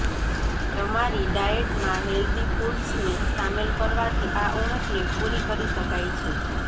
તમારી ડાયેટમાં હેલ્ધી ફૂડ્સને સામેલ કરવાથી આ ઉણપને પૂરી કરી શકાય છે